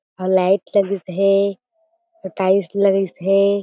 अउ लाइट लगिस हें अउ टाइल्स लगिस हें।